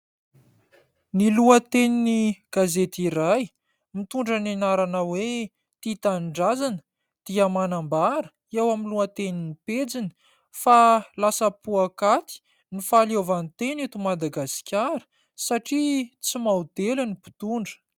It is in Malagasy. Ny lohatenin'ny gazety iray mitondra ny anarana hoe : tia tanindrazana dia manambara eo amin'ny lohatenin'ny pejiny fa "lasa poakaty ny fahaleovantena eto Madagasikara" satria tsy maodely ny mpitondra.